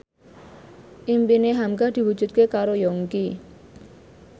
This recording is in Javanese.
impine hamka diwujudke karo Yongki